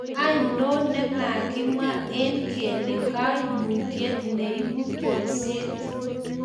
anonon ne makimwa eng' kele kaimutiet ne ibu bolset